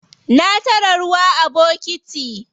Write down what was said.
Na tara ruwa a bokiti.